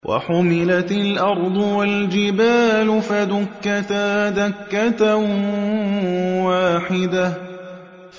وَحُمِلَتِ الْأَرْضُ وَالْجِبَالُ فَدُكَّتَا دَكَّةً وَاحِدَةً